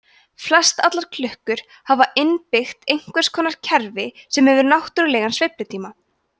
flestallar klukkur hafa innbyggt einhvers konar kerfi sem hefur náttúrlegan sveiflutíma